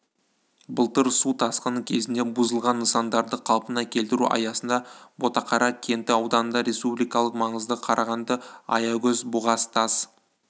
былтыр су тасқыны кезінде бұзылған нысандарды қалпына келтіру аясында ботақара кенті ауданында республикалық маңыздағы қарағанды-аягөз-бұғаз тас